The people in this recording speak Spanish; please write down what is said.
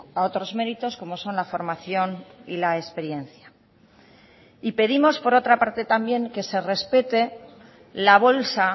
a otros méritos como son la formación y la experiencia y pedimos por otra parte también que se respete la bolsa